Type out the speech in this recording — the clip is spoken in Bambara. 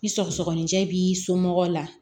Ni sɔgɔsɔgɔnijɛ b'i somɔgɔw la